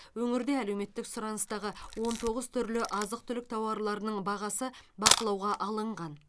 өңірде әлеуметтік сұраныстағы он тоғыз түрлі азық түлік тауарларының бағасы бақылауға алынған